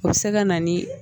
O bɛ se ka na ni